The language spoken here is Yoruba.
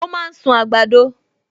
O máa ń sún àgbàdo